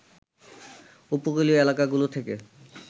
উপকূলীয় এলাকাগুলো থেকে